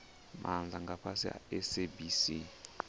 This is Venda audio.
maana nga fhasi ha sabc